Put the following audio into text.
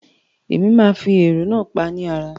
Mo máa fi ẹ̀rọ náà pá ni ara.